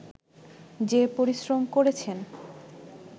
যে পরিশ্রম করেছেন